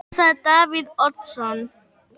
Hvað sagði Davíð Oddsson?